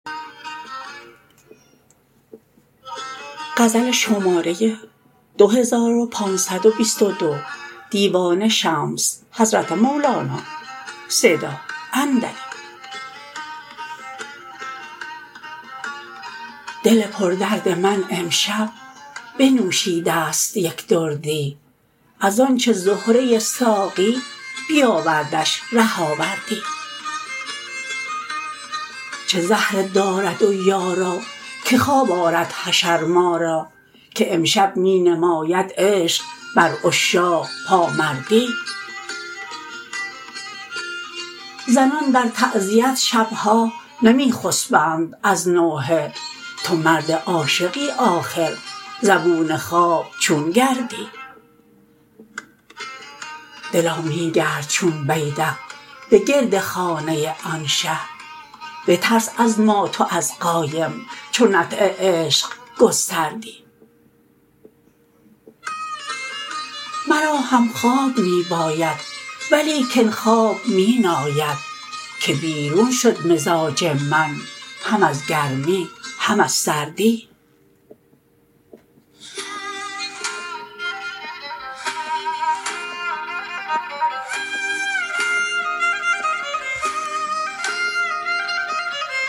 دل پردرد من امشب بنوشیده ست یک دردی از آنچ زهره ساقی بیاوردش ره آوردی چه زهره دارد و یارا که خواب آرد حشر ما را که امشب می نماید عشق بر عشاق پامردی زنان در تعزیت شب ها نمی خسبند از نوحه تو مرد عاشقی آخر زبون خواب چون گردی دلا می گرد چون بیدق به گرد خانه آن شه بترس از مات و از قایم چو نطع عشق گستردی مرا هم خواب می باید ولیکن خواب می ناید که بیرون شد مزاج من هم از گرمی هم از سردی